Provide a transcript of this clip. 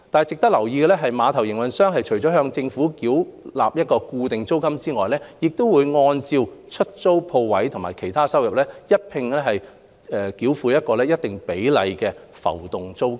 值得留意的是，碼頭營運商除向政府繳付固定租金外，亦須按出租鋪位及其他收入繳付一定比例的浮動租金。